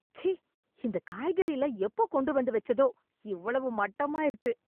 ச்சீ! இந்தக் காய்கறில்லாம் எப்போ கொண்டு வந்து வெச்சதோ! இவ்வளவு மட்டமா இருக்கு!